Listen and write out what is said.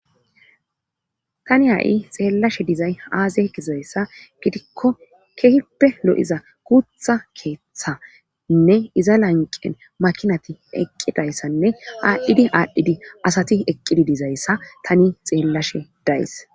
tani ha7i xeellashe dizay aaze gizayssa gidikko kehippe lo7iza guutha keeththanne iza lanqen makinati eqqidayssanne aadhdhidi aadhdhidi asati eqqidi dizayssa tani xeellashe days